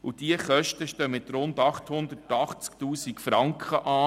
Es stehen Kosten von rund 880 000 Franken an.